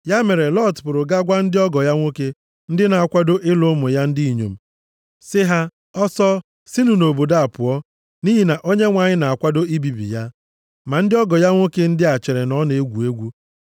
Ya mere, Lọt pụrụ gaa gwa ndị ọgọ ya nwoke, ndị na-akwado ịlụ ụmụ ya ndị inyom, sị ha, “Ọsọ, sinụ nʼobodo a pụọ. Nʼihi na Onyenwe anyị na-akwado ibibi ya.” Ma ndị ọgọ ya nwoke ndị a chere na ọ na-egwu egwu.